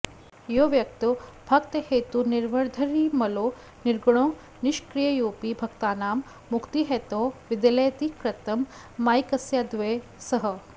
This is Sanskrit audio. यो व्यक्तो भक्तहेतुर्निरवधिरमलो निर्गुणो निष्क्रियोपि भक्तानां मुक्तिहेतौ विदलयति कृतं मायिकस्याद्वयः सः